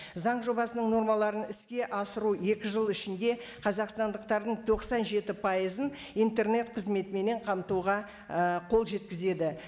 заң жобасының нормаларын іске асыру екі жыл ішінде қазақстандықтардың тоқсан жеті пайызын интернет қызметіменен қамтуға ііі қол жеткізеді